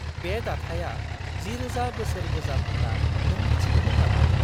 बे दाथाया 10000 बोसोर गोजाम होनना नों मिथिगौमोन नामा?